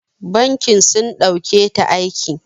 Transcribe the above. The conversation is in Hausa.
Bankin sun ɗauketa aiki.